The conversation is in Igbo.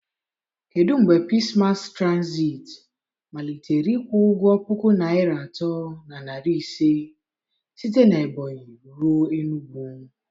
Kedu mgbe Pisii Masi Trazit malitere ịkwụ ụgwọ puku naịra atọ na narị ise site na Ebonyị ruo Enugwu